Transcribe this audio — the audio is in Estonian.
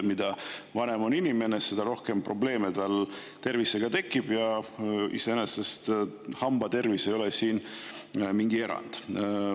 Mida vanem on inimene, seda rohkem probleeme tal tervisega tekib, ja iseenesest hambatervis ei ole mingi erand.